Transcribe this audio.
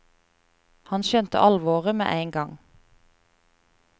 Han skjønte alvoret med en gang.